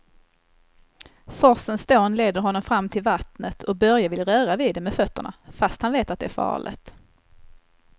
Forsens dån leder honom fram till vattnet och Börje vill röra vid det med fötterna, fast han vet att det är farligt.